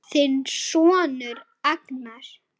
Þinn sonur Agnar.